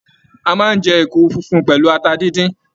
A máa n jẹ èkuru funfun pẹlú ata díndín.